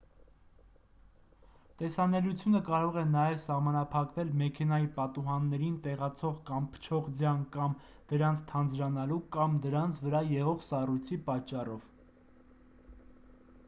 տեսանելիությունը կարող է նաև սահմանափակվել մեքենայի պատուհաններին տեղացող կամ փչող ձյան կամ դրանց թանձրանալու կամ դրանց վրա եղող սառույցի պատճառով